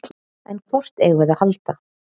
En hvort eigum við að halda?